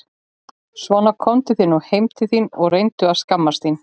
Svona komdu þér nú heim þín og reyndu að skammast þín!